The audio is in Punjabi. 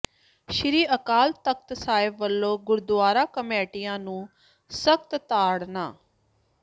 ਸ੍ਰੀ ਅਕਾਲ ਤਖਤ ਸਾਹਿਬ ਵੱਲੋਂ ਗੁਰਦੁਆਰਾ ਕਮੇਟੀਆਂ ਨੂੰ ਸਖਤ ਤਾੜਨਾ